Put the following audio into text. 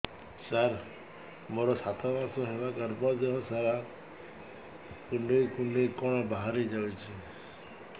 ସାର ମୋର ସାତ ମାସ ହେଲା ଗର୍ଭ ଦେହ ସାରା କୁଂଡେଇ କୁଂଡେଇ କଣ ବାହାରି ଯାଉଛି